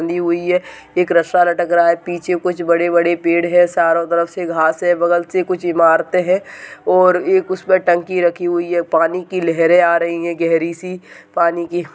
बनी हुई है एक रस्सा लटक रहा है पीछे कुछ बड़े बड़े पेड़ है चारों तरफ से घास है बगल से कुछ इमारते है और एक उसमें टंकी रखी हुई है पानी की लहरें आ रही है गहरी सी पानी की।